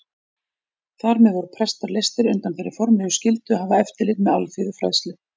Þar með voru prestar leystir undan þeirri formlegu skyldu að hafa eftirlit með alþýðufræðslu.